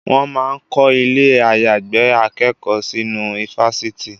Wọ́n máa ń kọ́ ilẹ̀ àyàgbé akẹ́kọ̀ọ́ sínú ifásitì